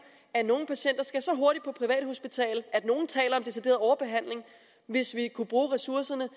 at nogle patienter skal så hurtigt på privathospital at nogle taler om decideret overbehandling hvis vi kunne bruge ressourcerne